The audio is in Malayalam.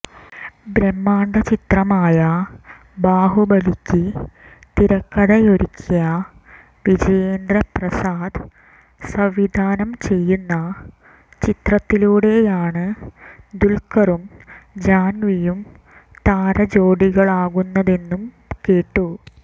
ബ്രഹ്മാണ്ഡ ചിത്രമായ ബാഹുബലിയ്ക്ക് തിരക്കഥയൊരുക്കിയ വിജയേന്ദ്ര പ്രസാദ് സംവിധാനം ചെയ്യുന്ന ചിത്രത്തിലൂടെയാണ് ദുല്ഖരും ജാന്വിയും താരജോഡികളാകുന്നതെന്നും കേട്ടു